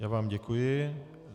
Já vám děkuji.